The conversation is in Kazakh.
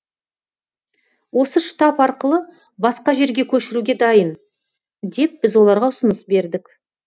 осы штаб арқылы басқа жерге көшіруге дайын деп біз оларға ұсыныс бердік